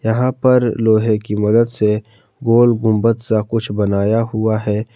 यहां पर लोहे की मदद से गोल गुंबद सा कुछ बनाया हुआ है।